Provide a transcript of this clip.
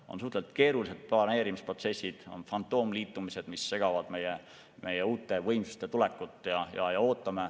On suhteliselt keerulised planeerimisprotsessid, on fantoomliitumised, mis segavad uute võimsuste tulekut.